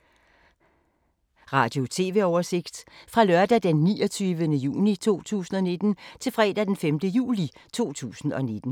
Radio/TV oversigt fra lørdag d. 29. juni 2019 til fredag d. 5. juli 2019